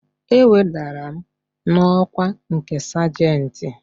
E wedara m n'ọkwa nke sajentị